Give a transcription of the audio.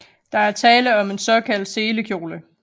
Der er tale om en såkaldt selekjole